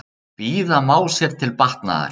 Bíða má sér til batnaðar.